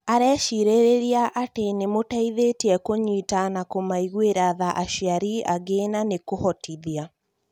arecĩrĩrĩria atĩ nĩmũteĩthetĩe kũnyita na kumaigwĩra tha aciari angĩ na nĩkuhotithia